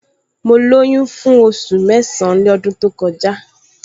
Mo lóyún fún oṣù mẹ́san-án lọ́dún to kọjá